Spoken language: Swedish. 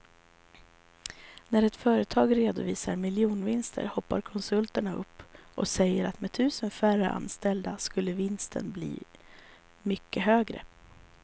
När ett företag redovisar miljardvinster hoppar konsulterna upp och säger att med tusen färre anställda skulle vinsten bli mycket högre.